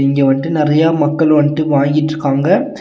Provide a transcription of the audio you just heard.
இங்க வந்ட்டு நறையா மக்கள் வந்ட்டு வாங்கிட்ருக்காங்க.